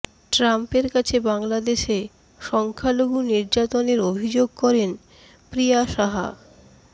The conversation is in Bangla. ট্রাম্পের কাছে বাংলাদেশে সংখ্যালঘু নির্যাতনের অভিযোগ করেন প্রিয়া সাহা